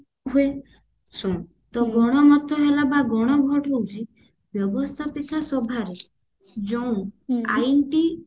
ହୁଏ ଶୁଣୁ ତ ଗଣ ମତ ବା ଗଣ vote ହଉଛି ବ୍ୟବସ୍ତାପିକା ସଭାରେ ଯୋଉଁ ଆଇନ ଟି